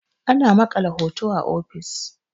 ana maƙala horo a ofis